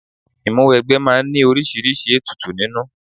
Ìmúwẹgbẹ́ máa ń ní oríṣiríṣi ètùtù nínú